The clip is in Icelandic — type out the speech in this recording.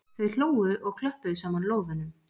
Þau hlógu og klöppuðu saman lófunum.